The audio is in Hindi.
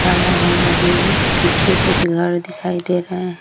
आड़ा-वाड़ा भी है पीछे कुछ घर दिखाई दे रहें हैं।